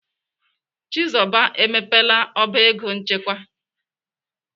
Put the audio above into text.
Chizoba emepela ọba ego nchekwa.